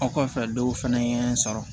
Aw kɔfɛ dɔw fɛnɛ ye n sɔrɔ